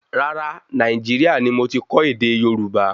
Rárá, Nàìjíríà ní mo ti kọ́ ède Yorùbá